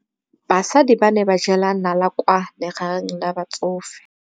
Basadi ba ne ba jela nala kwaa legaeng la batsofe.